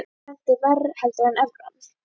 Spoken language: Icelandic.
Sýnist þér að þeir henti verr heldur en evran?